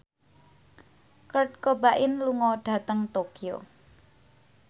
Kurt Cobain lunga dhateng Tokyo